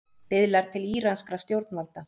Biðlar til íranskra stjórnvalda